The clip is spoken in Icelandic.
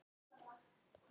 Og hæst hló Abba hin.